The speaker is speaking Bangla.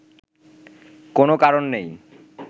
কোন কারণ নেই